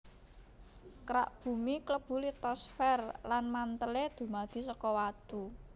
Kerak Bumi klebu litosfer lan mantèlé dumadi saka watu